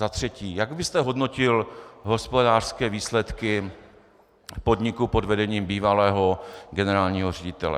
Za třetí: Jak byste hodnotil hospodářské výsledky podniku pod vedením bývalého generálního ředitele?